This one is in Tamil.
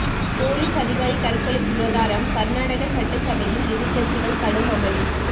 போலீஸ் அதிகாரி தற்கொலை விவகாரம் கர்நாடக சட்டசபையில் எதிர்க்கட்சிகள் கடும் அமளி